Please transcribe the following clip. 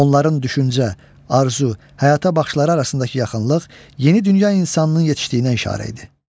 Onların düşüncə, arzu, həyata baxışları arasındakı yaxınlıq yeni dünya insanlığının yetişdiyinə işarə idi.